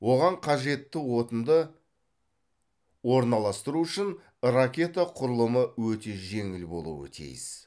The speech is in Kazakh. оған қажетті отынды орналастыру үшін ракета құрылымы өте жеңіл болуы тиіс